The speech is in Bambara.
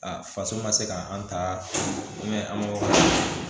A faso ma se ka an ta an ka